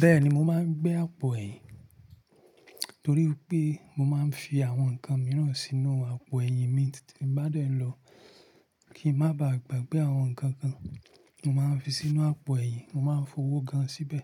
Bẹ́ẹ̀ni mo máa ń gbé àpò ẹ̀yìn, torí i pé mo máa ń fi àwọn nǹkan mìíràn sínú àpò ẹ̀yìn mi tí bá dé nlọ kí ń má ba à gbàgbé àwọn nǹkan kan. Mo máa ń fi sínú àpò ẹ̀yìn, mo máa ń fowó gan síbẹ̀